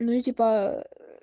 ну и типа